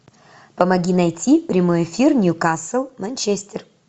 помоги найти прямой эфир ньюкасл манчестер